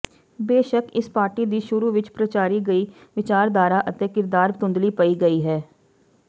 ਬੇਸ਼ੱਕ ਇਸ ਪਾਰਟੀ ਦੀ ਸ਼ੁਰੂ ਵਿਚ ਪ੍ਰਚਾਰੀ ਗਈ ਵਿਚਾਰਧਾਰਾ ਅਤੇ ਕਿਰਦਾਰ ਧੁੰਦਲੀ ਪਈ ਗਈ ਹੈ